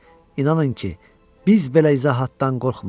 İnanın ki, biz belə izahatdan qorxmuruq.